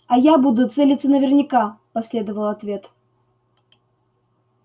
а я буду целиться наверняка последовал ответ